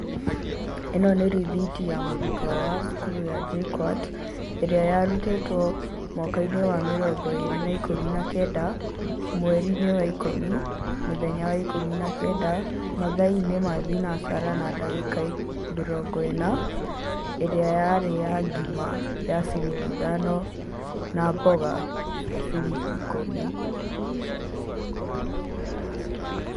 Ĩno nĩ rithiti ya mũrutwo wa cukuru ya JKUAT, ĩrĩa ya rutĩtwo mwakainĩ wa mĩrongo ĩrĩ na ikũmi na kenda, mwerinĩ wa ikũmi, mũthenya wa ikũmi na kenda, mathaainĩ ma thinacara na dagĩka mĩrongo ĩna, ĩrĩa yarĩ ya ngima ya ciringi ithano na mboga cia ciringi ikũmi.